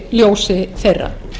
ljósi þeirra